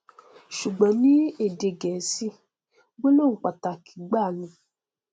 ṣùgbọn ní èdè gẹẹsì gbólóhùn pàtàkì gbáà ni